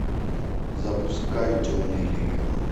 запускай темный легион